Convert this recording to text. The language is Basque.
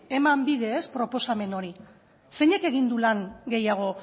eman bide proposamen honi zeinek egin du lan gehiago